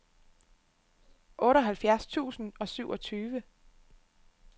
otteoghalvfjerds tusind og syvogtyve